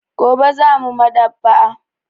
Gobe za mu Maɗ'aba'a.